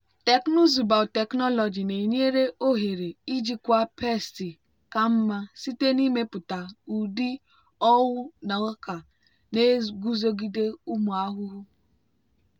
teknụzụ biotechnology na-enye ohere ijikwa pesti ka mma site n'ịmepụta ụdị owu na ọka na-eguzogide ụmụ ahụhụ.